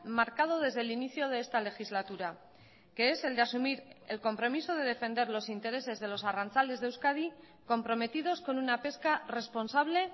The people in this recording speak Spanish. marcado desde el inicio de esta legislatura que es el de asumir el compromiso de defender los intereses de los arrantzales de euskadi comprometidos con una pesca responsable